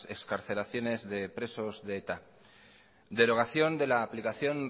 excarcelaciones de presos de eta derogación de la aplicación